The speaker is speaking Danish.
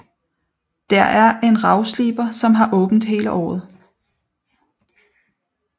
Der er en ravsliber som har åbent hele året